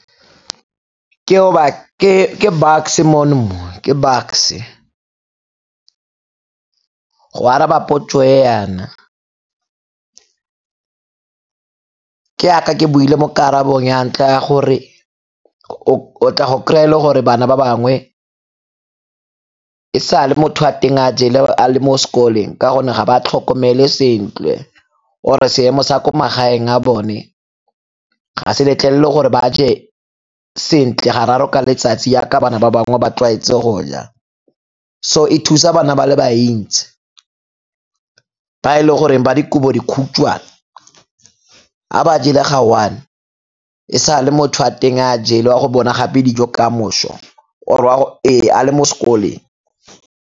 ke Bucks-e mono mo, ke Bucks-e. Go araba dipotso e yana, ke yaka ke buile mo karabong ya ntlha ya gore o tla go kry-a e le gore bana ba bangwe e sa le motho wa teng a jele a le mo sekoleng ka gonne ga ba tlhokomelwe sentle or-e seemo sa ko magaeng a bone ga se letlelele gore ba je sentle ga raro ka letsatsi yaka bana ba bangwe ba tlwaetse go ja. So e thusa bana ba le bantsi ba e le goreng ba dikobodikhutshwane, ga ba jele ga one, e sa le motho wa teng a jele o a go bona gape dijo ka moso ee a le mo sekoleng.